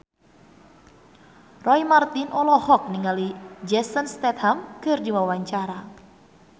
Roy Marten olohok ningali Jason Statham keur diwawancara